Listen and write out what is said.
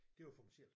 Det var for mig selv